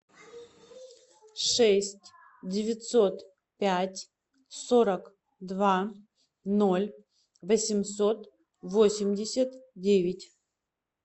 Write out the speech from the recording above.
шесть девятьсот пять сорок два ноль восемьсот восемьдесят девять